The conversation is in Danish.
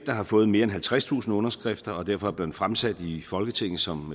der har fået mere end halvtredstusind underskrifter og derfor er blevet fremsat i folketinget som